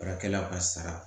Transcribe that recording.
Baarakɛlaw ka sara